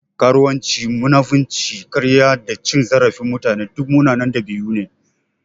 Karuwanci, munafinci, karya da cin zarafin mutane duk munanan ɗabi'u ne.